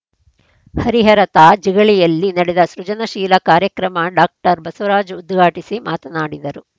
ಹರಿಹರ ತಾ ಜಿಗಳಿಯಲ್ಲಿ ನಡೆದ ಸೃಜನಶೀಲ ಕಾರ್ಯಕ್ರಮ ಡಾಕ್ಟರ್ ಬಸವರಾಜ್‌ ಉದ್ಘಾಟಿಸಿ ಮಾತನಾಡಿದರು